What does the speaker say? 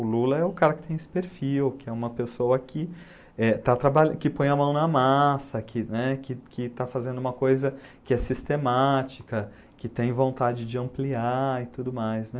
O Lula é o cara que tem esse perfil, que é uma pessoa que é está trabalha que põe a mão na massa, né, que que está fazendo uma coisa que é sistemática, que tem vontade de ampliar e tudo mais, né?